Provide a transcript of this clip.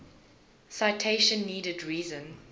citation needed reason